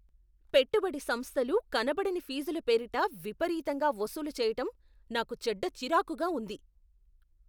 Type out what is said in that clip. పెట్టుబడి సంస్థలు కనపడని ఫీజుల పేరిట విపరీతంగా వసూలు చేయటం నాకు చెడ్డ చిరాకుగా ఉంది.